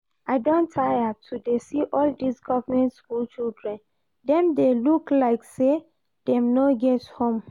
I don tire to dey see all dis government school children, dem dey look like say dem no get home